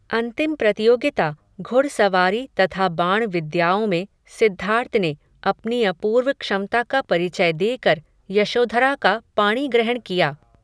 अंतिम प्रतियोगिता, घुड़ सवारी तथा बाण विद्याओं में, सिद्धार्थ ने, अपनी अपूर्व क्षमता का परिचय देकर, यशोधरा का पाणिग्रहण किया